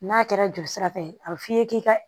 N'a kɛra joli sira fɛ a bi f'i ye k'i ka